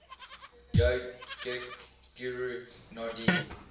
yogic guru nandhi